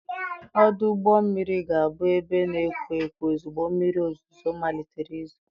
Ọdụ ụgbọ mmiri ga-abụ ebe na-ekwo ekwo ozugbo mmiri ozuzo malitere izo.